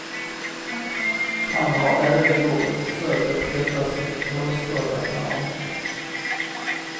Han har även gjort ett försök att träffa sin påstådda farmor.